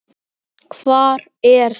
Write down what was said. Hvar er það?